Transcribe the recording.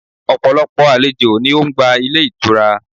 Ọ̀pọ̀lọpọ̀ àlejò ni o n gba Ilé itura